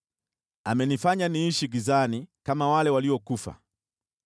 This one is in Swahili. Amenifanya niishi gizani kama wale waliokufa.